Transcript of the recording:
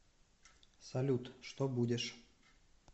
салют что будешь